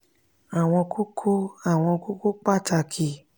àwọn kókó àwọn kókó pàtàkì